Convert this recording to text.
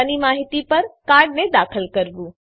ખાતાની માહિતી પર કાર્ડને દાખલ કરવું